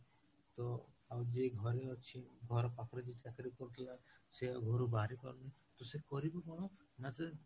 ତ ଆଉ ଯିଏ ଘରେ ଅଛି ଘର ପାଖରେ ଯିଏ ଚାକିରୀ କରୁଥିଲା, ସିଏ ଆଉ ଘରୁ ବାହାରି ପାରୁନି, ତ ସେ କରିବ କଣ ନା ସେ